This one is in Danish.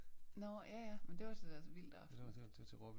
Nåh ja ja men det var til deres vildtaften